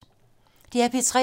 DR P3